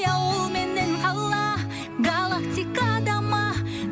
ауыл менен қала галактикада ма